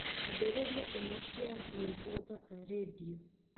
ambĩrĩria imwe cia nyĩmbo thaka rĩndiũ